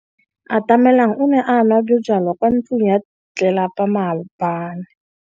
Atamelang o ne a nwa bojwala kwa ntlong ya tlelapa maobane.